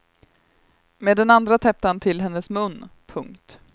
Med den andra täppte han till hennes mun. punkt